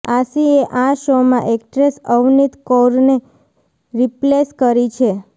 આશીએ આ શોમાં એક્ટ્રેસ અવનીત કૌરને રિપ્લેસ કરી છે